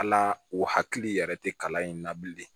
Ala o hakili yɛrɛ tɛ kalan in na bilen